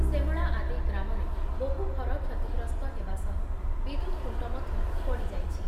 ସେମଳା ଆଦି ଗ୍ରାମରେ ବହୁ ଘର କ୍ଷତି ଗ୍ରସ୍ତ ହେବା ସହ ବିଦ୍ୟୁତ୍ ଖୁଣ୍ଟ ମଧ୍ଯ ପଡ଼ି ଯାଇଛି ।.